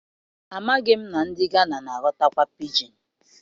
Amaghị m na ndị Gana na-aghọtakwa pidgin.